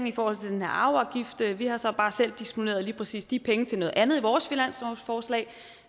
i forhold til den her arveafgift vi har så bare selv disponeret lige præcis de penge til noget andet i vores finanslovsforslag